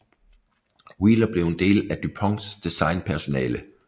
Wheeler blev en del af DuPonts designpersonale